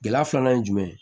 Gɛlɛya filanan ye jumɛn ye